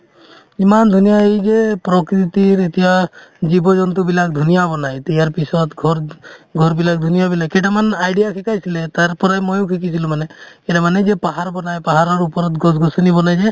ইমান ধুনীয়া এই যে প্ৰকৃতিৰ এতিয়া জীৱ-জন্তু বিলাক ধুনীয়া বনাই এতিয়া ইয়াৰ পিছত ঘৰ ঘৰবিলাক ধুনীয়াবিলাক কেইটামান idea শিকাইছিলে তাৰ পৰাই ময়ো শিকিছিলো মানে মানে যে পাহাৰ বনাই পাহাৰৰ ওপৰত গছ-গছনি বনাই যে